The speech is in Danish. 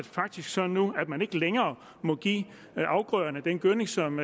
faktisk sådan nu at man ikke længere må give afgrøderne den gødning som